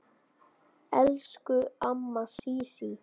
Elsku amma Sísí.